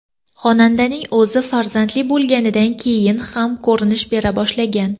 Xonandaning o‘zi farzandli bo‘lganidan keyin kam ko‘rinish bera boshlagan.